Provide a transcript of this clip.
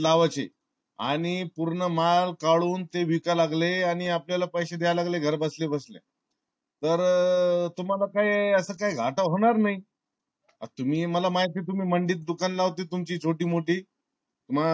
लावायची आणि पूर्ण माल काडून ते विकाय लागले आणि आपल्या ला पैसे द्या लागले घर बसले बसले. तर तुम्हाला काही अस काही घाटा होणार नाही. तुम्ही मला माहिती ये तुम्ही मांडीत दुकान लावता तुमची छोटी मोठी